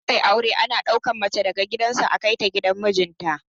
Idan aka yi aure ana ɗauka mace daga gidan su a kai ta gidan mijin ta